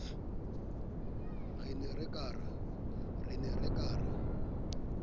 re ne re ka ra